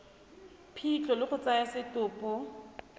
phitlho le go tsaya setopo